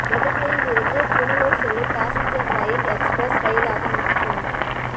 மதுரையில் இருந்து புனலூர் செல்லும் பாசஞ்சர் ரயில் எக்ஸ்பிரஸ் ரயிலாக மாற்றம்